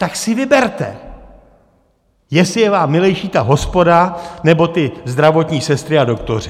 Tak si vyberte, jestli je vám milejší ta hospoda, nebo ty zdravotní sestry a doktoři!